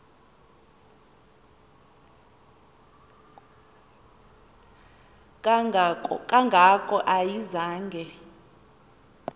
kanga ko ayizange